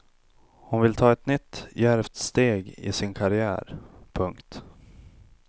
Hon vill ta ett nytt djärvt steg i sin karriär. punkt